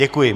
Děkuji.